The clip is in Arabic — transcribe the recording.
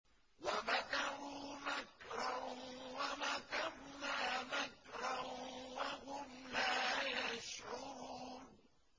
وَمَكَرُوا مَكْرًا وَمَكَرْنَا مَكْرًا وَهُمْ لَا يَشْعُرُونَ